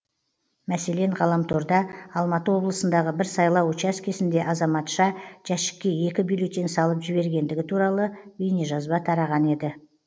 мәселен ғаламторда алматы облысындағы бір сайлау учаскесінде азаматша жәшікке екі бюллетень салып жібергендігі туралы бейнежазба тараған еді